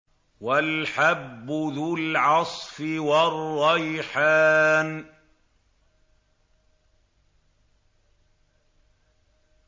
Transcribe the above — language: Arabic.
وَالْحَبُّ ذُو الْعَصْفِ وَالرَّيْحَانُ